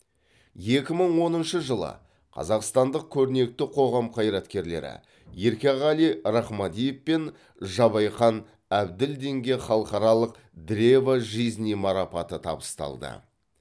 екі мың оныншы жылы қазақстандық көрнекті қоғам қайраткерлері еркеғали рахмадиев пен жабайхан әбділдинге халықаралық древа жизни марапаты табысталды